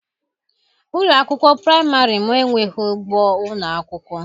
Ụlọ akwụkwọ praịmarị m enweghị ugbo ụlọ akwụkwọ.